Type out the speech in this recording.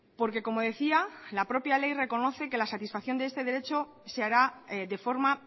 porque como decía la propia ley reconoce que la satisfacción de este derecho se hará de forma